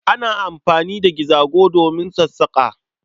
Ana anfani da gizago domin sassaƙa.